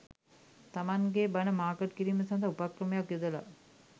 තමන්ගේ බණ මාකට් කිරීම සඳහා උපක්‍රමයක් යොදලා.